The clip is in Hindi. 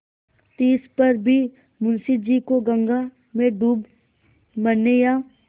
तिस पर भी मुंशी जी को गंगा में डूब मरने या